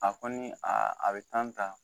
A kɔni a a be tan ta